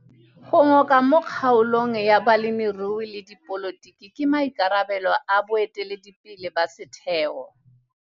Go ngoka mo kgaolong ya bolemirui le dipolotiki ke maikarabelo a boeteledipele ba setheo.